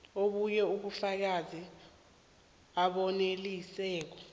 obunye ubufakazi obanelisako